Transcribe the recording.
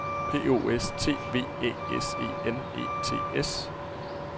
P O S T V Æ S E N E T S